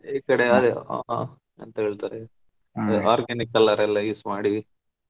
ಈಕಡೆ ಅದೇ ಓ ಆ ಅಂತ ಹೇಳ್ತಾರೆ organic colour ಎಲ್ಲಾ use ಮಾಡಿ.